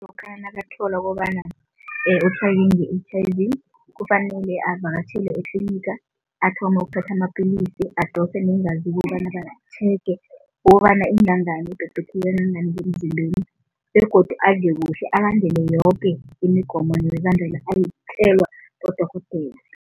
Lokha nakathola kobana nge-H_I_V kufanele avakatjhele etliniga, athome ukuthatha amapillisi, adose neengazi ukobana batjhege, babone ingangani, ibhebhetheke kangangani emzimbeni begodu adle kuhle, alandele yoke imigomo nemibandela ayitjelwa bodorhodere.